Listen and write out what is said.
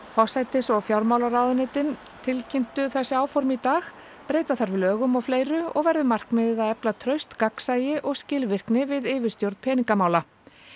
forsætis og fjármálaráðuneytin tilkynntu þessi áform í dag breyta þarf lögum og fleiru og verður markmiðið að efla traust gagnsæi og skilvirkni við yfirstjórn peningamála